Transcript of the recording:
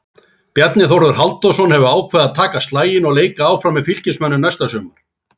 Bjarni Þórður Halldórsson hefur ákveðið að taka slaginn og leika áfram með Fylkismönnum næsta sumar.